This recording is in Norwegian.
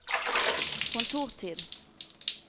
kontortid